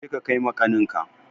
Je ka kai ma ƙaninka!